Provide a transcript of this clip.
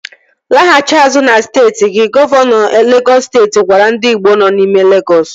Laghachi azụ na steeti gi! Gọvanọ Legọs steeti gwara ndị igbo nọ n'ime Legọs